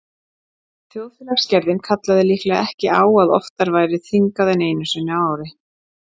Þjóðfélagsgerðin kallaði líklega ekki á að oftar væri þingað en einu sinni á ári.